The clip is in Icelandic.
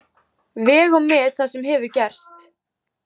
Veg og met það sem hefur gerst.